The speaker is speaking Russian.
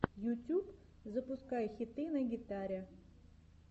ютюб запускай хиты на гитаре